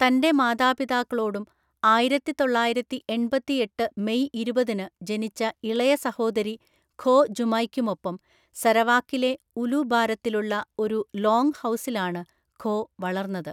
തന്റെ മാതാപിതാക്കളോടും ആയിരത്തിതൊള്ളായിരത്തിഎണ്‍പത്തിഎട്ട് മെയ് ഇരുപതിന് ജനിച്ച ഇളയ സഹോദരി ഖോ ജുമൈയ്‌ക്കുമൊപ്പം സരവാക്കിലെ ഉലു ബാരത്തിലുള്ള ഒരു ലോംഗ് ഹൗസിലാണ് ഖോ വളർന്നത്,